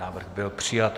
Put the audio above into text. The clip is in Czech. Návrh byl přijat.